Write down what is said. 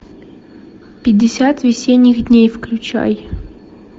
пятьдесят весенних дней включай